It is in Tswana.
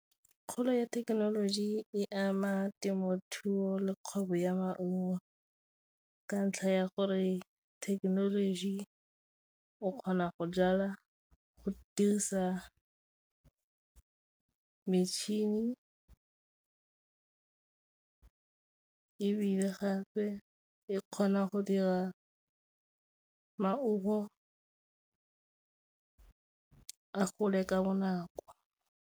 Kgolo ya thekenoloji e ama temothuo le kgwebo ya maungo ka ntlha ya gore thekenoloji o kgona go jalwa go dirisa metšhini, ebile gape e kgona go dira maungo a gole ka bonako.